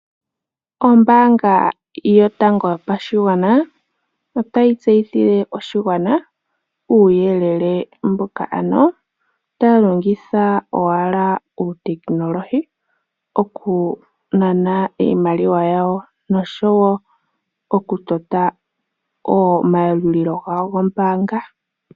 Ombaanga yotango yopashigwana otayi tseyithile oshigwana uuyelele mboka taya longitha owala uutekinoolohi oku nana iimaliwa yawo nosho woo oku tota omayalulo gawo gombaanga.